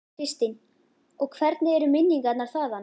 Þóra Kristín: Og hvernig eru minningarnar þaðan?